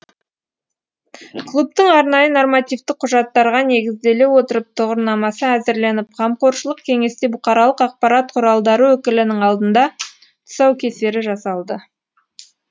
клубтың арнайы нормативтік құжаттарға негізделе отырып тұғырнамасы әзірленіп қамқоршылық кеңесте бұқаралық ақпарат құралдары өкілінің алдында тұсаукесері жасалды